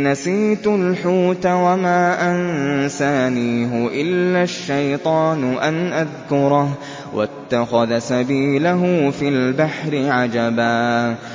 نَسِيتُ الْحُوتَ وَمَا أَنسَانِيهُ إِلَّا الشَّيْطَانُ أَنْ أَذْكُرَهُ ۚ وَاتَّخَذَ سَبِيلَهُ فِي الْبَحْرِ عَجَبًا